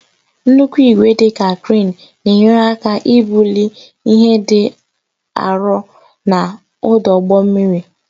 Nnukwu igwe, dị ka kreen, na-enyere aka ibuli ihe dị arọ n'ọdụ ụgbọ mmiri.